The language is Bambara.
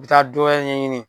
N mi taa dɔ wɛrɛ ɲɛɲini